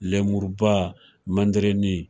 Lenmuruba mandɛrɛnin.